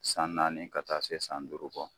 San naani ka taa se san duuru bɔ.